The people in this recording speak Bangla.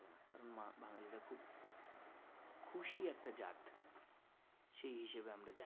খুশি একটা জাত সেই হিসেবেই আমরা জানি